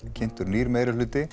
kynntur nýr